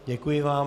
Děkuji vám.